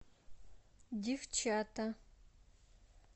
девчата